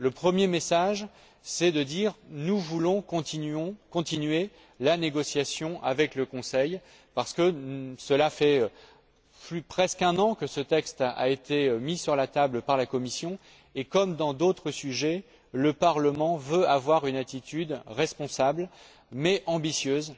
Le premier message consiste à dire que nous voulons continuer la négociation avec le Conseil parce que cela fait presque un an que ce texte a été mis sur la table par la Commission et, comme dans d'autres sujets, le Parlement veut avoir une attitude responsable, mais ambitieuse.